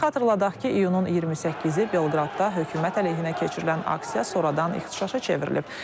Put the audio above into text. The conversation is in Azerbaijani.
Xatırladaq ki, iyunun 28-i Belqradda hökumət əleyhinə keçirilən aksiya sonradan ixtişaşa çevrilib.